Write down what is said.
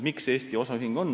Miks on osaühing Eestis?